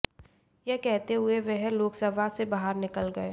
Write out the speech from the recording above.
यह कहते हुए वह लोकसभा से बाहर निकल गए